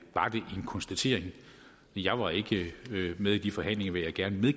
en konstatering jeg var ikke med i de forhandlinger vil jeg gerne